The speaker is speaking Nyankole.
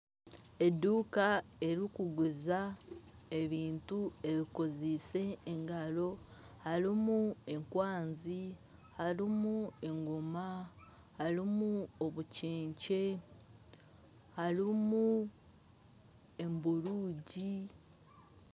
Eduuka erikuguza ebintu ebikoziise engaro harimu enkwanzi harimu engoma harimu obukyekye harimu emburuugi.